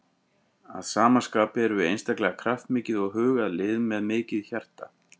Að sama skapi erum við einstaklega kraftmikið og hugað lið með mikið hjarta.